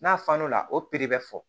N'a fan n'o la o piri bɛ fɔ